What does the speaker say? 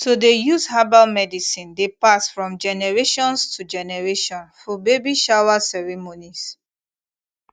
to dey use herbal medicine dey pass from generations to generation fir baby shower ceremonies